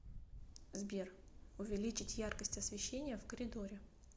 сбер увеличить яркость освещения в коридоре